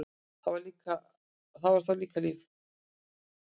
Það var þá líka líf!